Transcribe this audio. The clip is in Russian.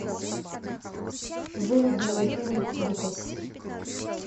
выведи мне фильм дикость